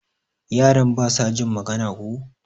Yaran basa jin magana ko?